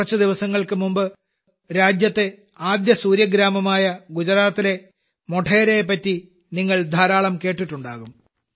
കുറച്ചുദിവസങ്ങൾക്കു മുമ്പ് രാജ്യത്തെ ആദ്യ സൂര്യഗ്രാമമായ ഗുജറാത്തിലെ മോഢേരയെപ്പറ്റി നിങ്ങൾ ധാരാളം കേട്ടിട്ടുണ്ടാകും